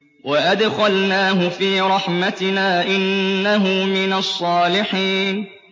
وَأَدْخَلْنَاهُ فِي رَحْمَتِنَا ۖ إِنَّهُ مِنَ الصَّالِحِينَ